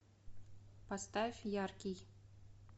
поставь яркий